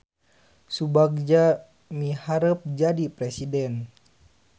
Subagja miharep jadi presiden